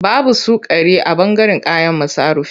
Babu sukari a ɓangaren kayan masarufi.